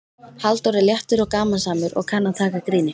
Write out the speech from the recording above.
Halldór er léttur og gamansamur og kann að taka gríni.